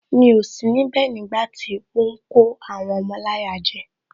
Mi ò sí níbẹ̀ nígbàtí ó ń kó àwọn ọmọ láyà jẹ